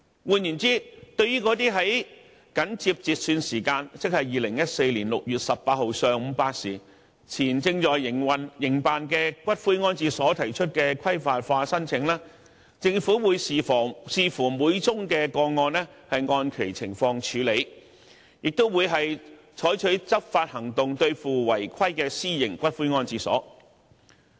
換言之，對於那些緊接截算時間，即2014年6月18日上午8時前正在營辦的骨灰安置所提出的規範化申請，政府會視乎每宗個案而按其情況處理，亦會採取執法行動對付違規的私營骨灰安置所。